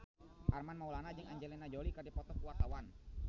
Armand Maulana jeung Angelina Jolie keur dipoto ku wartawan